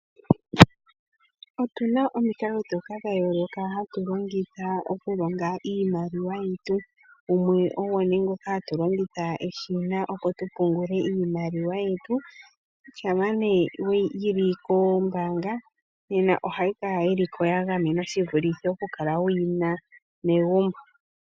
Otu na omikalo dha yooloka ndhoka hatu longitha okulonga iimaliwa yetu. Gumwe ogo nduno ngoka hatu longitha eshina, opo tu pungule iimaliwa yetu. Shampa yi li kombaanga ohayi kala ko ya gamenwa shi vulithe okukala wu yi na megumbo.